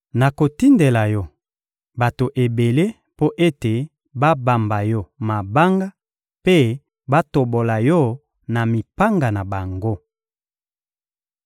Nakotindela yo bato ebele mpo ete babamba yo mabanga mpe batobola yo na mipanga na bango.